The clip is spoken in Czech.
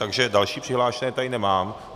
Takže další přihlášené tady nemám.